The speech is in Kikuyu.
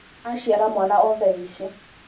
aciara mwana o thaici